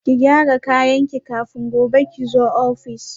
Ki gyara kayanki kafin gobe kizo office